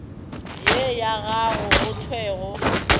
ye ya gago go thwego